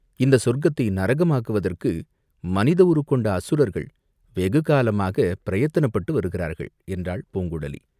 இந்த சொர்க்கத்தை நரகமாக்குவதற்கு மனித உருக் கொண்ட அசுரர்கள் வெகு காலமாகப் பிரயத்தனப்பட்டு வருகிறார்கள்" என்றாள் பூங்குழலி.